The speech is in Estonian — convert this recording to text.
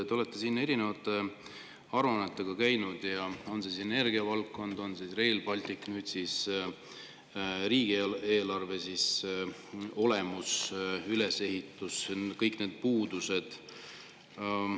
Te olete siin erinevate aruannetega käinud, olgu energiavaldkond või Rail Baltic, nüüd siis riigieelarve olemus, ülesehitus ja kõik selle puudused.